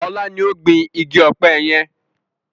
Ọlá ni ó gbin igi ọpẹ yẹn